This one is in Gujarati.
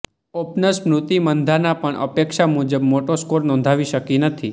ઓપનર સ્મૃતિ મંધાના પણ અપેક્ષા મુજબ મોટો સ્કોર નોંધાવી શકી નથી